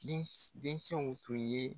Den dencɛw tun ye.